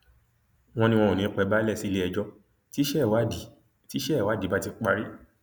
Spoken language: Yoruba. wọn ní wọn ò ní í pẹ balẹ sílẹẹjọ tíṣẹ ìwádìí tíṣẹ ìwádìí bá ti parí